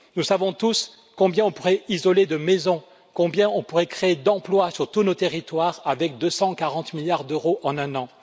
Nous savons tous combien on pourrait isoler de maisons, combien on pourrait créer d'emplois sur tous nos territoires, avec 240 milliards d'euros en un an.